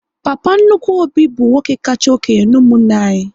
Papa nnukwu Obi bụ nwoke kacha okénye n'umunna anyị